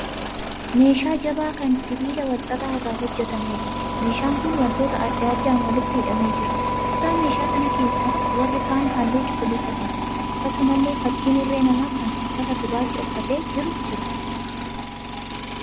Meeshaa jabaa kan sibiila wal xaxaa irraa hojjetameedha. Meeshaan kun wantoota adda addaan walitti hidhamee jira. Kutaa meeshaa kanaa keessa warri kaan halluu cuquliisa qabu. Akkasumallee fakkiin irree namaa kan uffata gurraacha uffatee jiru jira.